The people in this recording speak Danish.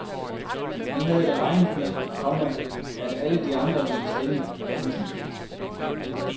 Vi havde da regnet med, komma at alle de andre ville stemme. punktum